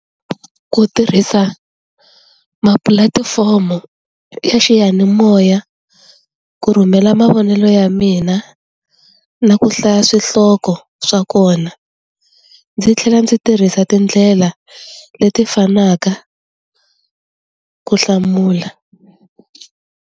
Ku tirhisa ma pulatifomo ya xiyanimoya ku rhumela mavonelo ya mina na ku hlaya swihloko swa kona ndzi tlhela ndzi tirhisa tindlela leti fanaka ku hlamula.